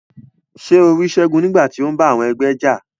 Ṣe o ri Segun nigbati o n bá àwọn ẹgbẹ́ já?